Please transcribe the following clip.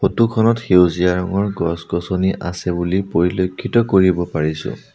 Photo খনত সেউজীয়া ৰঙৰ গছ-গছনি আছে বুলি পৰিলেক্ষিত কৰিব পৰিছোঁ।